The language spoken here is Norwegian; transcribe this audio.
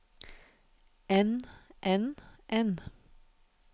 enn enn enn